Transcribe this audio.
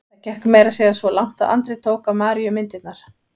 Það gekk meira að segja svo langt að Andri tók af Maríu myndirnar.